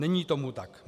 Není tomu tak.